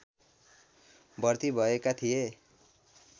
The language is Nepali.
भर्ती भएका थिए